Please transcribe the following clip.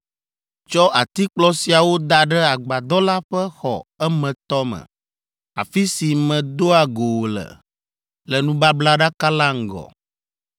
Tsɔ atikplɔ siawo da ɖe agbadɔ la ƒe xɔ emetɔ me, afi si medoa go wò le, le nubablaɖaka la ŋgɔ.